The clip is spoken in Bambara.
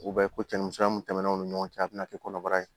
U bɛ ko cɛnnimisɛnninya mun tɛmɛnen o ni ɲɔgɔn cɛ a bɛna kɛ kɔnɔbara ye